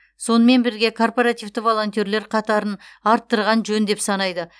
сонымен бірге корпоративті волонтерлер қатарын арттырған жөн деп санайды